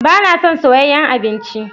Ba na son soyayyen abinci.